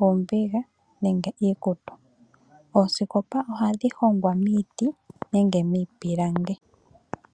oombiga nenge iikutu. Oosikopa ohadhi hongwa miiti nenge miipilangi.